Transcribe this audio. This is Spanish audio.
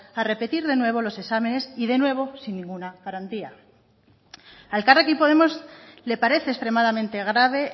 a repetir de nuevo los exámenes y de nuevo sin ninguna garantía a elkarrekin podemos le parece extremadamente grave